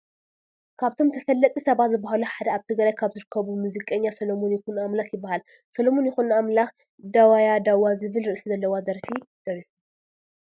ካብቶም ተፈለጥቲ ሰባት ዝበሃሉ ሓደ ኣብ ትግራይ ካብ ዝርከቡ ሙዚቀኛ ሰሎሞን ይኩኖኣምላክ ይበሃል። ሰሎሞን ይኩኖ ኣምላክ ዳዋያዳዋ ዝብል ርእሲ ዘለዋ ደርፊ ደሪፉ።